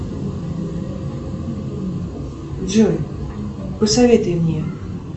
джой посоветуй мне